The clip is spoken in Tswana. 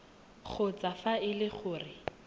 kgotsa fa e le gore